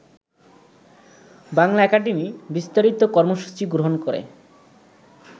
Bangla academy বিস্তারিত কর্মসূচি গ্রহণ করে